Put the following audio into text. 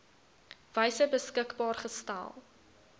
wyse beskikbaar gestel